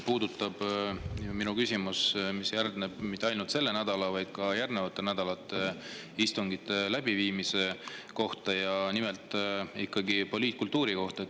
Tõesti, minu küsimus, mis järgneb, ei puuduta mitte ainult selle nädala istungeid, vaid käib ka järgmiste nädalate istungite kohta, nimelt poliitkultuuri kohta.